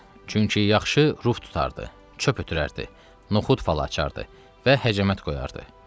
Çünki yaxşı ruh tutardı, çöp ötürərdi, noxud falı açardı və həcəmət qoyardı.